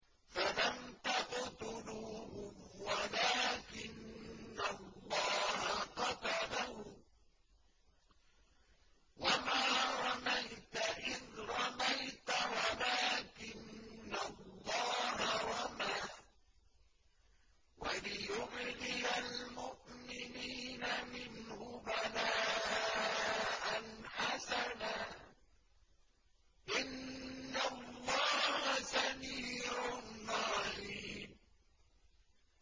فَلَمْ تَقْتُلُوهُمْ وَلَٰكِنَّ اللَّهَ قَتَلَهُمْ ۚ وَمَا رَمَيْتَ إِذْ رَمَيْتَ وَلَٰكِنَّ اللَّهَ رَمَىٰ ۚ وَلِيُبْلِيَ الْمُؤْمِنِينَ مِنْهُ بَلَاءً حَسَنًا ۚ إِنَّ اللَّهَ سَمِيعٌ عَلِيمٌ